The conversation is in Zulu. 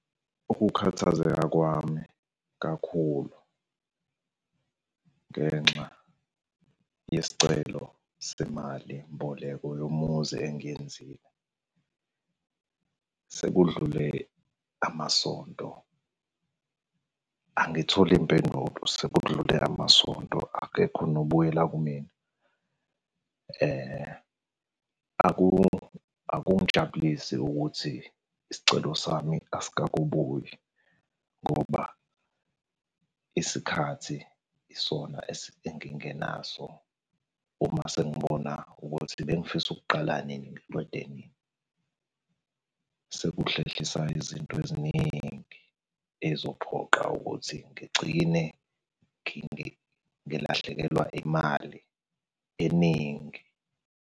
Ukukhathazeka kwami kakhulu ngenxa yesicelo semali mboleko yomuzi engiyenzile. Sekudlule amasonto, angitholi mpendulo sekudlule amasonto akekho nobuyela kumina. Akungijabulisi ukuthi isicelo sami asikakobuyi ngoba isikhathi isona engingenaso. Uma sengibona ukuthi bengifisa ukuqala nini niqede nini. Sekuhlehlisa izinto eziningi ey'zophoqa ukuthi ngigcine ngilahlekelwa yimali eningi.